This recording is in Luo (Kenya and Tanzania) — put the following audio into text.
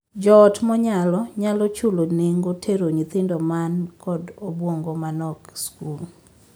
Joot monyalo nyalo chulo nengo tero nyithindo man kod obuongo ma nok skul.